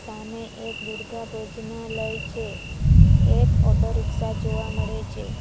સામે એક દુર્ગા ભોજનાલય છે એક ઓટો રિક્ષા જોવા મળે છે.